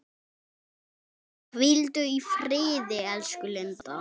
Hvíldu í friði, elsku Linda.